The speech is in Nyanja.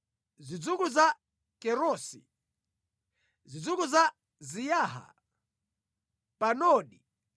zidzukulu za Kerosi, zidzukulu za Siyaha, Padoni,